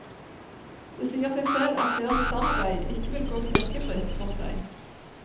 Det sier seg selv at deres samarbeid ikke vil gå knirkefritt for seg.